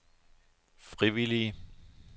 frivillige